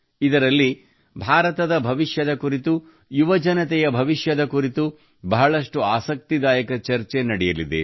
ಇದರಲ್ಲಿ ಭಾರತದ ಭವಿಷ್ಯದ ಕುರಿತು ಯುವಜನತೆಯ ಭವಿಷ್ಯದ ಕುರಿತು ಬಹಳಷ್ಟು ಆಸಕ್ತಿದಾಯಕ ಚರ್ಚೆ ನಡೆಯಲಿದೆ